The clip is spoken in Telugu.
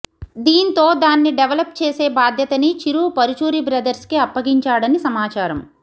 దీంతో దాన్ని డెవలెప్ చేసే బాధ్యతని చిరు పరుచూరి బ్రదర్స్కి అప్పగించాడని సమాచారం